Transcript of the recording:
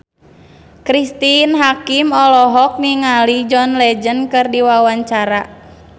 Cristine Hakim olohok ningali John Legend keur diwawancara